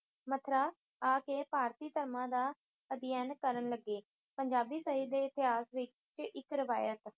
ਮਥਰਾ ਆ ਕੇ ਭਾਰਤੀ ਧਰਮਾਂ ਦਾ ਅਧਿਐਨ ਕਰਨ ਲੱਗੇ। ਪੰਜਾਬੀ ਸਾਹਿਤ ਦੇ ਇਤਿਹਾਸ ਵਿੱਚ ਇੱਕ ਰਵਾਇਤ